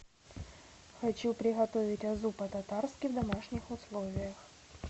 хочу приготовить азу по татарски в домашних условиях